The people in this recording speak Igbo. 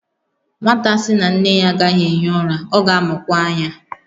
Nwata sị na nne ya agaghị ehi ụra, ọ ga-amụkwa anya